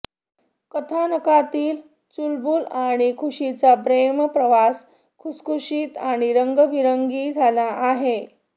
कथानकातील चुलबुल आणि खुशीचा प्रेमप्रवास खुशखुशीत आणि रंगेबिरंगी झाला आहे